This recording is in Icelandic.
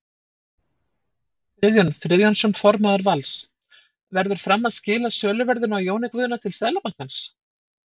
Friðjón Friðjónsson formaður Vals: Verður Fram að skila söluverðinu á Jóni Guðna til Seðlabankans?